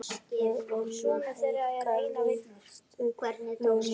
Við viljum hækka lægstu launin.